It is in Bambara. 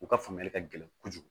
U ka faamuyali ka gɛlɛn kojugu